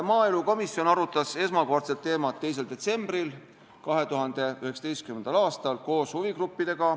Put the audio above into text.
Maaelukomisjon arutas teemat esmakordselt 2. detsembril 2019. aastal koos huvigruppidega.